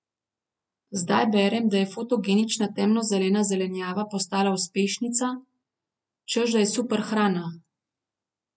Zdaj berem, da je fotogenična temno zelena zelenjava postala uspešnica, češ da je superhrana.